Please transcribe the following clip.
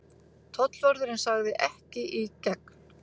Tollvörðurinn sagði: Ekki í gegn.